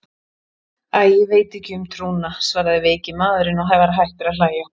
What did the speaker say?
Æ, ég veit ekki um trúna, svaraði veiki maðurinn og var hættur að hlæja.